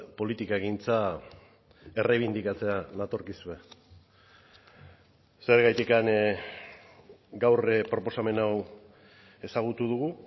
politikagintza erreibindikatzera natorkizue zergatik gaur proposamen hau ezagutu dugu